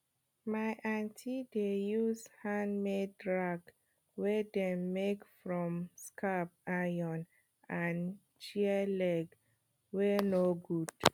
my aunty dey use handmade rake wey dem make from scrap iron and chair leg wey no good